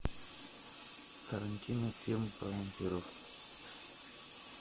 тарантино фильм про вампиров